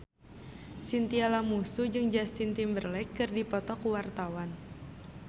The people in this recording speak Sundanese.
Chintya Lamusu jeung Justin Timberlake keur dipoto ku wartawan